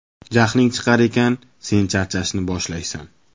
Jahling chiqar ekan, sen charchashni boshlaysan.